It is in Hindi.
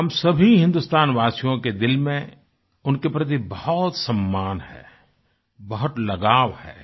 हम सभी हिन्दुस्तानवासियों के दिल में उनके प्रति बहुत सम्मान है बहुत लगाव है